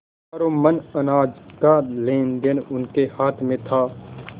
हजारों मन अनाज का लेनदेन उनके हाथ में था